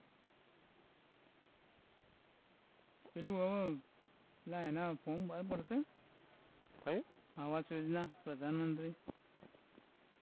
પેલું અઅ એના form ભરશે ક્યુ? આવાસયોજના પ્રધાનમંત્રી